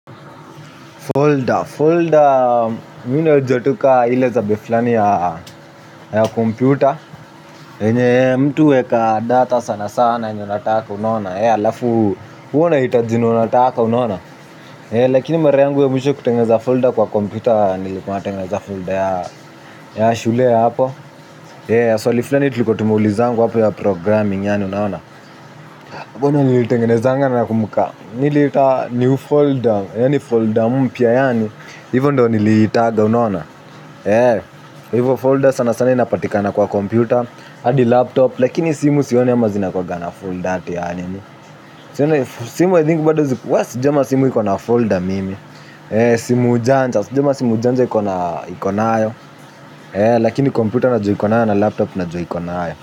Folder mimi najua tu ka ile za computer. Enye mtu huweka data sana sana yenye unataka unaona. Alafu huwa unahitajii enye unataka unaona. Lakini mara yangu ya mwisho kutengeza folder kwa kompyuta. Nilikuwa natengeneza folder ya shule hapo. Swali fulani tulikuwa tumeulizwa hapo ya programming yani unaona. Hapo ndiyo nilitengeneza nakumbuka. Niliita new folder. Yaani folder mpya yaani, hivyo ndiyo niliita, unaona? Hivyo folder sana sana inapatikana kwa kompyuta, hadi laptop, lakini simu sioni kama zina kuwa na folder, yaani, simu I think bado, sijaona simu iko na folder mimi, simu ujanja, sijaona simu ujanja iko nayo, lakini kompyuta najua iko nayo, na laptop na jua iko nayo.